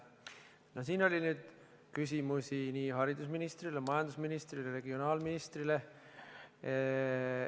No siin oli nüüd küsimusi nii haridusminisrile, majandusministrile kui ka regionaalministrile.